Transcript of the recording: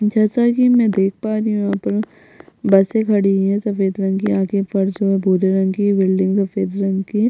जैसा की मई देख पा रही हूँ यहाँ पर बसे खड़ी हुई है सफ़ेद रंग की आगे फर्श और भूरे रंग की बिल्डिंग सफ़ेद रंग की--